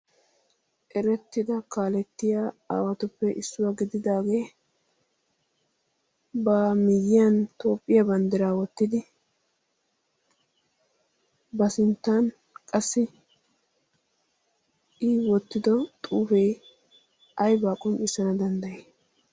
Erettida kaalettiya aawatuppe issuwa gididaagee ba miyyiyan tophphiya banddiraa wottidi ba sinttan qassi I wottido xuufee ayibaa qonccissana danddayii?